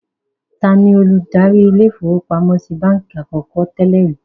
Taani olùdarí ilé-ìfowópamọ́sí i báńkì àkọ́kọ́ tẹ́lẹ̀ rìí?